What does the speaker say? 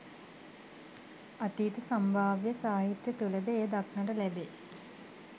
අතීත සම්භාව්‍ය සාහිත්‍ය තුළද එය දක්නට ලැබේ.